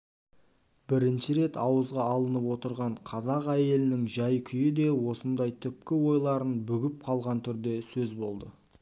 бірінші рет ауызға алынып отырған қазақ әйелінің жәй-күйі де осындай түпкі ойларын бүгіп қалған түрде сөз болды